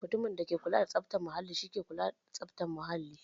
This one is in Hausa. Mutumin da ke kula da tsaftar muhalli shi ne ma'aikacin tsaftar muhalli.